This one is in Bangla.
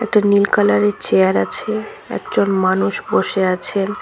একটা নীল কালার -এর চেয়ার আছে একজন মানুষ বসে আছেন।